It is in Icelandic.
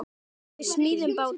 Við smíðum báta.